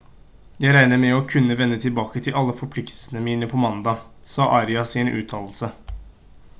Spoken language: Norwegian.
«jeg regner med å kunne vende tilbake til alle forpliktelsene mine på mandag» sa arias i en uttalelse